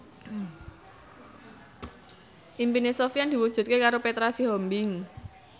impine Sofyan diwujudke karo Petra Sihombing